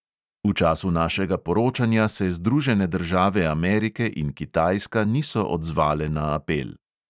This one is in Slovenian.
V času našega poročanja se združene države amerike in kitajska niso odzvale na apel.